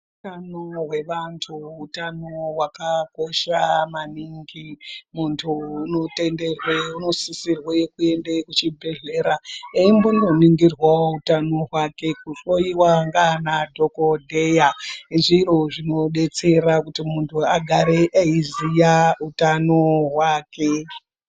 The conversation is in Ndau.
Hutano hwe vantu hutano hwaka kosha maningi muntu uno tenderwe uno sisirwe kuende ku chibhedhlera eimbono ningirwawo hutano hwake ku hloyiwa ndi ana dhokodheya zviro zvino detsera kuti muntu agare eyi ziya utano hwake.